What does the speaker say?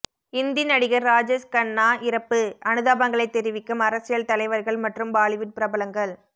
இந்தி நடிகர் ராஜேஸ் கண்ணா இறப்பு அனுதாபங்களை தெரிவிக்கும் அரசியல் தலைவர்கள் மற்றும் பாலிவுட் பிரபலங்கள்